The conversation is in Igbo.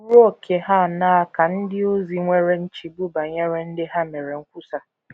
Ruo ókè ha aṅaa ka ndị ozi nwere nchegbu banyere ndị ha meere nkwusa?